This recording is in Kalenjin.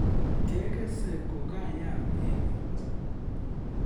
Kekesei kokayam emet